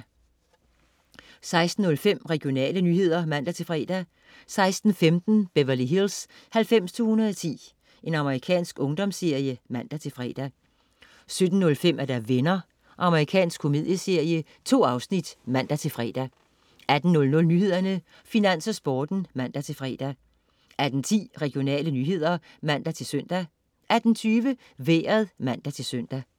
16.05 Regionale nyheder (man-fre) 16.15 Beverly Hills 90210. Amerikansk ungdomsserie (man-fre) 17.05 Venner. Amerikansk komedieserie. 2 afsnit (man-fre) 18.00 Nyhederne, Finans og Sporten (man-fre) 18.10 Regionale nyheder (man-søn) 18.20 Vejret (man-søn)